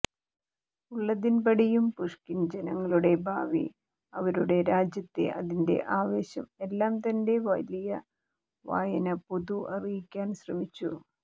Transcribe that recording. ഉള്ളതിൻപടിയും Pushkin ജനങ്ങളുടെ ഭാവി അവരുടെ രാജ്യത്തെ അതിന്റെ ആവേശം എല്ലാ തന്റെ വലിയ വായന പൊതു അറിയിക്കാൻ ശ്രമിച്ചു